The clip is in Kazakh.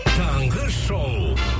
таңғы шоу